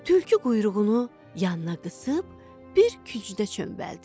Tülkü quyruğunu yanına qısıb bir kücdə çönbəldi.